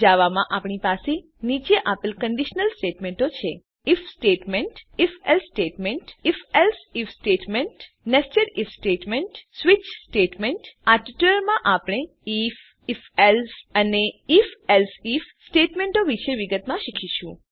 જાવામાં આપણી પાસે નીચે આપેલ કંડીશનલ સ્ટેટમેંટો છે if statement if else statement if else if statement nested if statement switch statement આ ટ્યુટોરીયલમાં આપણે આઇએફ ifએલ્સે અને ifએલ્સે આઇએફ સ્ટેટમેંટો વિશે વિગતમાં શીખીશું